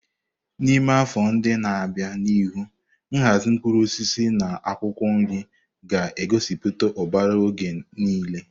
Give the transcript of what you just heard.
N'ime afọ ndị na-abịa n'ihu, nhazi mkpụrụ osisi na akwụkwọ nri ga-egosiputa ụbara oge niile.